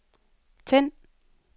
tænd